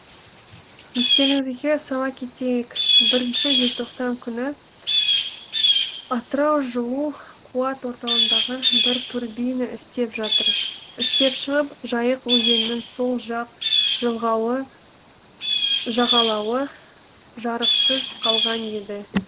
естеріңізге сала кетейік бірінші желтоқсан күні атырау жылу қуат орталығындағы бір турбина істен шығып жайық өзенінің сол жақ жағалауы жарықсыз қалған еді